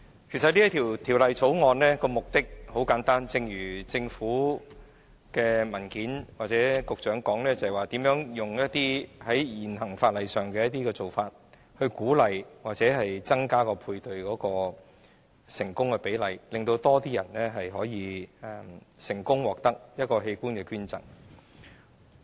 其實這項《條例草案》的目的很簡單，正如政府的文件或局長所指出，是如何以現時法例的做法來鼓勵或增加配對的成功比例，令更多人能成功獲器官捐贈。